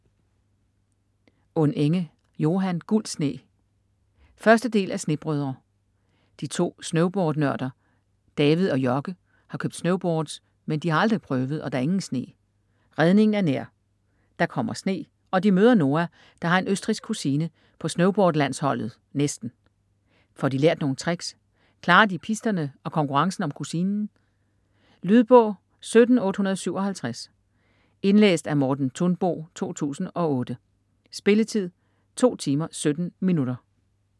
Unenge, Johan: Gul sne 1. del af Snebrødre. De to snowboardnørder David og Jocke har købt snowboards, men de har aldrig prøvet, og der er ingen sne. Redningen er nær. Der kommer sne, og de møder Noa, der har en østrigsk kusine på snowboardlandsholdet (næsten). Får de lært nogle tricks, klarer de pisterne og konkurrencen om kusinen?. Lydbog 17857 Indlæst af Morten Thunbo, 2008. Spilletid: 2 timer, 17 minutter.